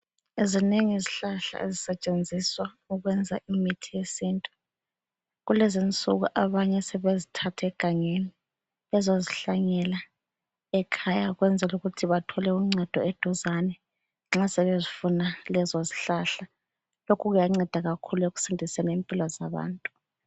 Zinengi izihlahla ezisetshenziswa ukwenza imithi yesintu. Kulezi insuku abanye sebezithatha egangeni bezozihlanyela ekhaya ukwenzela ukuthi bathole uncedo eduzane nxa sebezifuna lezo zihlahla. Lokho kuyanceda kakhulu ekusindiseni impilo zabantu.